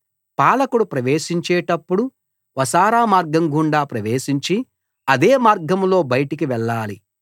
పాలకుడు ప్రవేశించేటప్పుడు వసారా మార్గం గుండా ప్రవేశించి అదే మార్గంలో బయటికి వెళ్ళాలి